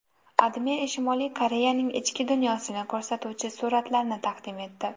AdMe Shimoliy Koreyaning ichki dunyosini ko‘rsatuvchi suratlarni taqdim etdi.